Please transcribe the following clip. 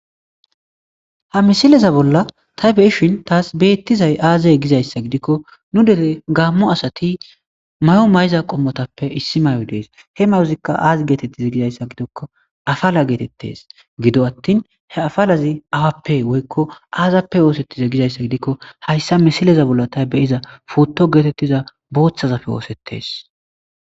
ha misileza bolla tay beyishin taas beettizay aazey gizayssa gidikko nu dere gaammo asati mayo may7iza qommotappe issi may7o dees he mayozikka aazi geetettizi gizayssa gidokko afala geetettes gido attin he afalazi awappe woykko aazappe oosettize gizayssa gidikko hayssa misileza bolla tay beyiza potto geetettiza booththazappe oosettes